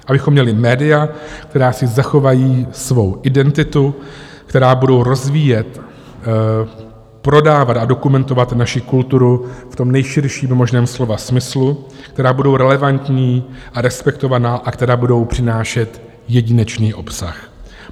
Abychom měli média, která si zachovají svou identitu, která budou rozvíjet, prodávat a dokumentovat naši kulturu v tom nejširším možném slova smyslu, která budou relevantní a respektovaná a která budou přinášet jedinečný obsah.